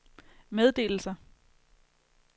meddelelser